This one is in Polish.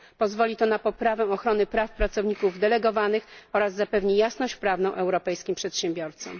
Pozwoli to na poprawę ochrony praw pracowników delegowanych oraz zapewni jasność prawną europejskim przedsiębiorcom.